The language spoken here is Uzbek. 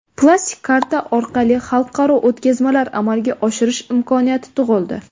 Plastik karta orqali xalqaro o‘tkazmalar amalga oshirish imkoniyati tug‘ildi.